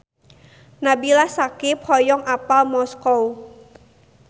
Nabila Syakieb hoyong apal Moskow